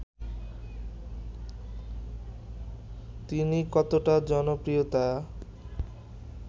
তিনি কতটা জনপ্রিয়তা